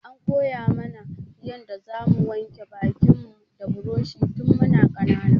An koya mu na yanda za mu wanke bakin mu da buroshi tun mu na ƙanana